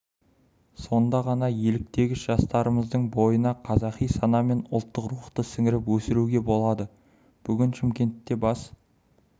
сонда ғана еліктегіш жастарымыздың бойына қазақи сана мен ұлттық рухты сіңіріп өсіруге болады бүгін шымкентте бас